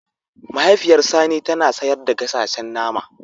Mahaifiyar sani tana sayar da gasashen nama.